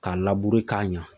Ka k'a ɲa